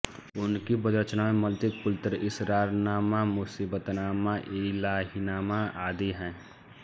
उनकी पद्य रचनाओं में मंतिकुल्तैर इसरारनामा मुसीबतनामा इलाहीनामा आदि हैं